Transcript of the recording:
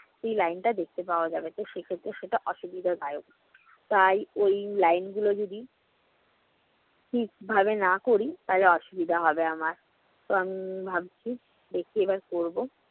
সেই line টা দেখতে পাওয়া যাবে। তো সেক্ষেত্রে সেটা অসুবিধাদায়ক। তাই ওই line গুলো যদি ঠিকভাবে না করি তাহলে অসুবিধা হবে আমার। তো আমি উম ভাবছি যে কিভাবে করবো।